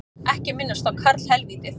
Ekki minnast á karlhelvítið